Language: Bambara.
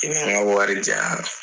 I bi n ka wari diya ?